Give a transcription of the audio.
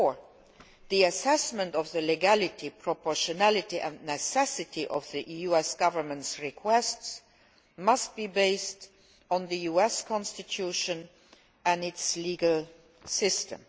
Therefore, the assessment of the legality, proportionality and necessity of the US Government's requests must be based on the US Constitution and its legal system.